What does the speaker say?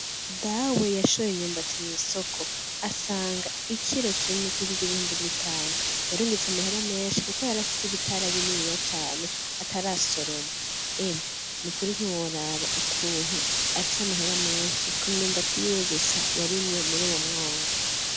Dawe yashoye imyumbati mw'isoko asanga ikiro kimwe kigurwa ibihumbi bitanu yarungutse amahera menshi kuko yari afise ibitara bininiya cane atarasoroma, emwe nukuri ntiworaba ukuntu afise amahera menshi ku myumbati yiwe gusa yarimye muri uwo mwonga.